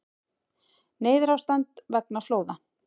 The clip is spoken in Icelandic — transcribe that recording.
Neyðarástand vegna flóða